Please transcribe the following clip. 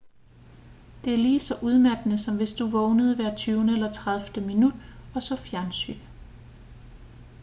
det er lige så udmattende som hvis du vågnede hver tyvende eller tredivte minut og så fjernsyn